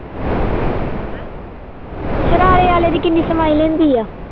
ਸਰਾਰੇ ਵਾਲੇ ਦੀ ਕਿੰਨੀ ਸਮਾਈ ਲੈਂਦੀ ਆ?